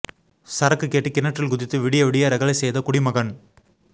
சரக்கு கேட்டு கிணற்றில் குதித்து விடிய விடிய ரகளை செய்த குடிமகன்